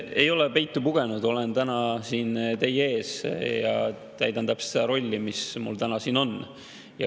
Ei ole peitu pugenud, olen täna siin teie ees ja täidan täpselt seda rolli, mis mul täna siin on.